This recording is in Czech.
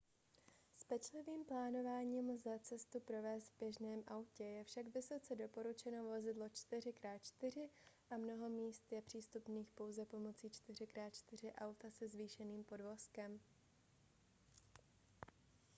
s pečlivým plánováním lze cestu provést v běžném autě je však vysoce doporučeno vozidlo 4x4 a mnoho míst je přístupných pouze pomocí 4x4 auta se zvýšeným podvozkem